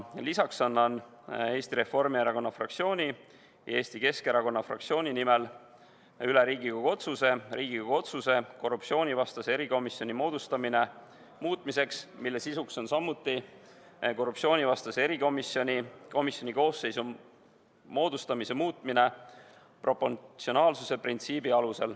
Lisaks annan Eesti Reformierakonna ja Eesti Keskerakonna fraktsiooni nimel üle Riigikogu otsuse "Riigikogu otsuse "Korruptsioonivastase erikomisjoni moodustamine" muutmine" eelnõu, mille sisuks on samuti erikomisjoni koosseisu moodustamise muutmine, lähtudes proportsionaalsuse printsiibist.